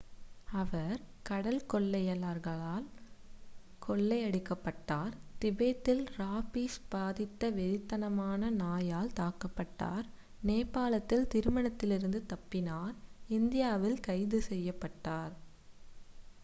அவர் கடற்கொள்ளையர்களால் கொள்ளையடிக்கப்பட்டார் திபெத்தில் ராபிஸ் பாதித்த வெறித்தனமான நாயால் தாக்கப்பட்டார் நேபாளத்தில் திருமணத்திலிருந்து தப்பினார் இந்தியாவில் கைது செய்யப்பட்டார்